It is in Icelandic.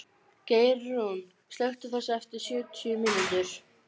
Geirrún, slökktu á þessu eftir sjötíu mínútur.